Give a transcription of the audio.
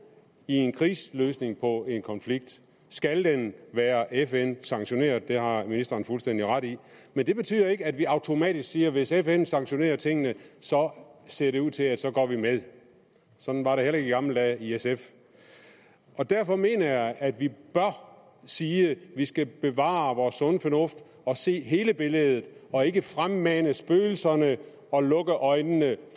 i en krigsløsning på en konflikt skal den være fn sanktioneret det har ministeren fuldstændig ret i men det betyder ikke at vi automatisk siger at hvis fn sanktionerer tingene ser det ud til at så går vi med sådan var det heller ikke i gamle dage i sf og derfor mener jeg at vi bør sige at vi skal bevare vores sunde fornuft se hele billedet og ikke fremmane spøgelserne og lukke øjnene